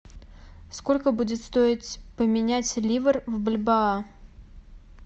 сколько будет стоить поменять ливр в бальбоа